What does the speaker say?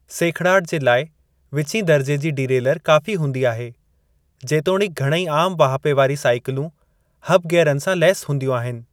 सेखिड़ाटु जे लाइ विचीं दर्जे जी डिरेलर काफ़ी हूंदी आहे, जेतोणिक घणेई आमु वाहिपे वारी साइकिलूं हब गियरनि सां लैस हूंदियूं आहिनि।